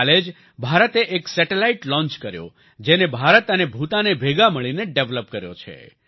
કાલે જ ભારતે એક સેટેલાઈટ લોન્ચ કર્યો જેને ભારત અને ભૂતાને ભેગા મળીને ડેવેલપ કર્યો છે